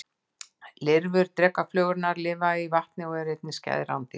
Lirfur drekaflugurnar lifa í vatni og eru einnig skæð rándýr.